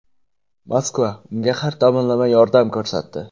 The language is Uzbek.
Moskva unga har tomonlama yordam ko‘rsatdi.